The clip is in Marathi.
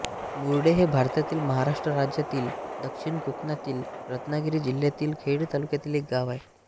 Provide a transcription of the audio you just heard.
मुरडे हे भारतातील महाराष्ट्र राज्यातील दक्षिण कोकणातील रत्नागिरी जिल्ह्यातील खेड तालुक्यातील एक गाव आहे